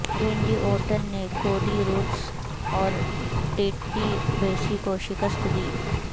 رینڈی Orton نے Cody Rhodes اور Ted DiBiase کو شکست دی